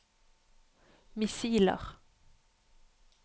missiler